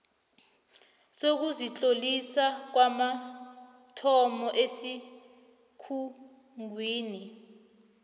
sokuzitlolisa kwamathomo esikhungweni